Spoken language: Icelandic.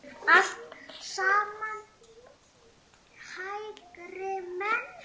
Allt saman hægri menn!